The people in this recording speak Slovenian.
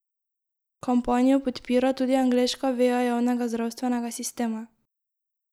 Kampanjo podpira tudi angleška veja javnega zdravstvenega sistema.